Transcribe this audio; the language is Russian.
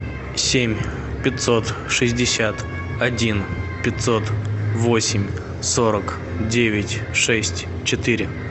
семь пятьсот шестьдесят один пятьсот восемь сорок девять шесть четыре